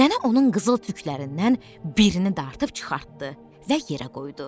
Nənə onun qızıl tüklərindən birini dartıb çıxartdı və yerə qoydu.